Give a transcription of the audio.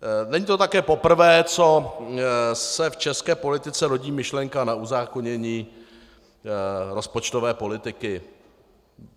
Není to také poprvé, co se v české politice rodí myšlenka na uzákonění rozpočtové politiky.